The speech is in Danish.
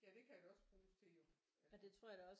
Ja det kan det også bruges til jo ja